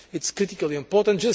It is critically important.